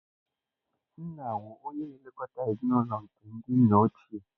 Nna wu oye na-elekọta ezinụlọ nke ndị nna ochie.